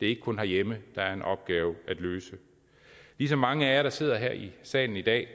det er ikke kun herhjemme der er en opgave at løse ligesom mange af jer der sidder her i salen i dag